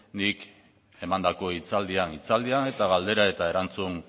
nik emandako hitzaldian hitzaldian eta galdera eta erantzun